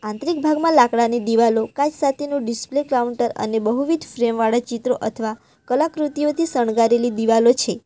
એક ભાગમાં લાકડાની દિવાલો કાચ સાથેનું ડિસ્પ્લે કાઉન્ટર અને બહુવિધ ફ્રેમ વાળા ચિત્રો અથવા કલાકૃતિઓથી શણગારેલી દીવાલો છે.